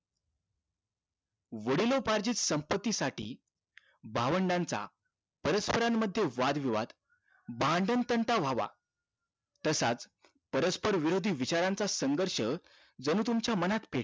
वडिलोपार्जित संपत्ती साठी भावंडांचा परस्पर मध्ये वादविवाद भांडण तंटा वाहवा तसाच परस्पर विरोधी विचारांचा संघर्ष जणू तुमच्या मनात पेटतो